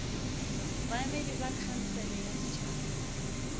baemedi ba khansele ya setšhaba